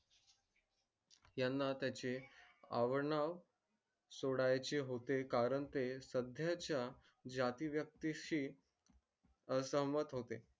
याना त्याचे सोडायचे होते कारण ते जाती यक्ती शी असमंध होते